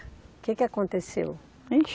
O que que aconteceu? Ixe